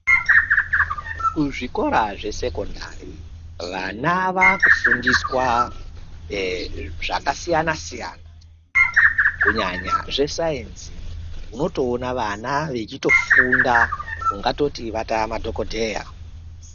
Kuzvikora zvesekondari vana vaakufundiswa zvakasiyanasiyana kunyanya zvesayenzi unotoona vana vechitofunda ungatoti vatamadhokodheya.